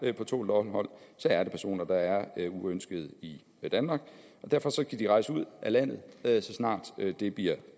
er på tålt ophold er det personer der er uønskede i danmark derfor skal de rejse ud af landet så snart det bliver